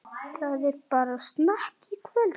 Það er bara snakk.